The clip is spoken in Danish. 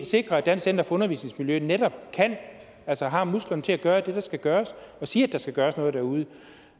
sikre at dansk center for undervisningsmiljø netop har musklerne til at gøre det der skal gøres og sige at der skal gøres noget derude